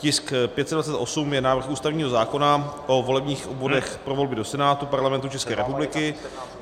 Tisk 528 je návrh ústavního zákona o volebních obvodech pro volby do Senátu Parlamentu České republiky.